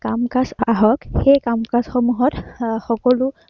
কাম-কাজ আহক, সেই কাম-কাজ সমূহত আহ সকলো